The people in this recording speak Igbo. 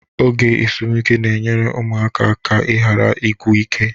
Oge ezumike na-enyere ụmụaka aka ịghara ịgwụ ike